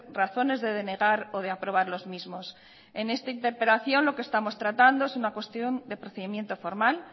razones de denegar o de aprobar los mismos en esta interpelación lo que estamos tratando es una cuestión de procedimiento formal